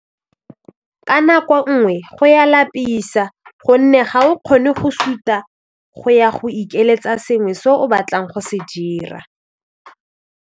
Ka nako nngwe go ya lapisa gonne ga o kgone go suta go ya go ikeletsa sengwe se o batlang go se dira.